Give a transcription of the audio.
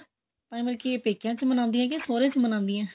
ਮਤਲਬ ਕੀ ਇਹ ਪੇਕਿਆਂ ਚ ਮਨਾਉਂਦੀਆਂ ਜਾਂ ਸੋਹਰਿਆਂ ਚ ਮਨਾਉਂਦੀਆਂ